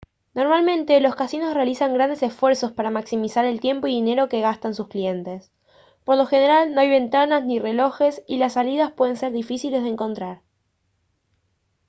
normalmente los casinos realizan grandes esfuerzos para maximizar el tiempo y dinero que gastan sus clientes por lo general no hay ventanas ni relojes y las salidas pueden ser difíciles de encontrar